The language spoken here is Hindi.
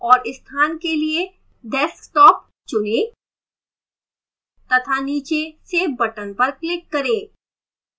और स्थान के लिए desktop चुनें तथा नीचे save बटन पर क्लिक करें